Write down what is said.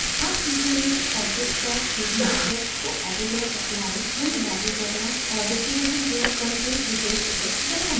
आप सीखेंगे objects पर 3d effects को edit और एप्लाई यानि लागू करना और duplication प्रयोग करके विशेष effects बनाना